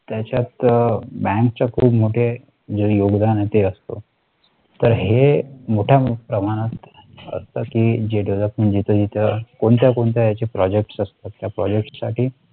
त्याच्यात आह bank च्या खूप मोठे जे योगदान आहे ते असतो तर हे मोठय़ा प्रमाणात असतात की जे DEVELOPMENT जिथे जिथे कोणत्या कोणत्या याचे project असतात त्या project साठी